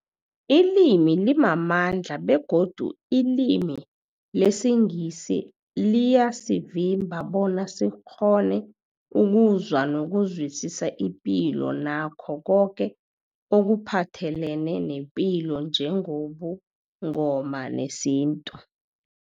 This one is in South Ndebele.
Ilimi limamandla begodu ilimi lesiNgisi liyasivimba bona sikghone ukuzwa nokuzwisisa ipilo nakho koke ekuphathelene nepilo njengobuNgoma nesintu.